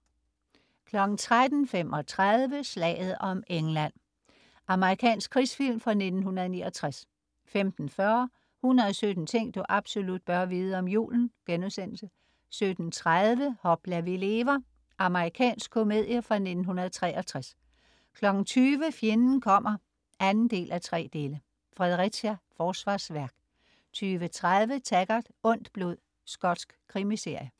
13.35 Slaget om England. Amerikansk krigsfilm fra 1969 15.40 117 ting du absolut bør vide om julen* 17.30 Hopla, vi lever! Amerikansk komedie fra 1963 20.00 Fjenden kommer 2:3. Fredericia Forsvarsværk 20.30 Taggart: Ondt blod. Skotsk krimiserie